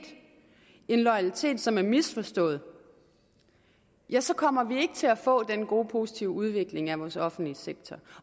en loyalitet som er misforstået ja så kommer vi ikke til at få den gode positive udvikling af vores offentlige sektor